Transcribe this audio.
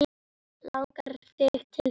Langar þig til þess?